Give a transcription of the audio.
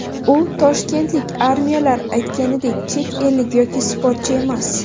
U toshkentlik, ayrimlar aytganidek chet ellik yoki sportchi emas.